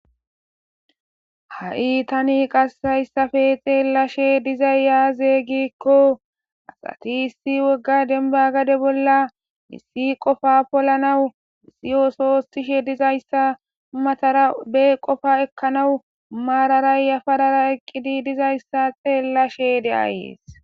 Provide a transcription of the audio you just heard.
Ha'i tani qasayssafe xeellashe dizay yaaze gikko asati issi wogga denba gade bolla miissi qofa polanawu siyosoostishe dizayssa matara be qofa ekkanawu maararayyafarara eqqidi dizayssa xeellashe de ayees.